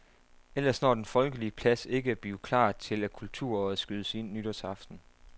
Ellers når den folkelige plads ikke at blive klar til, at kulturåret skydes ind nytårsaften.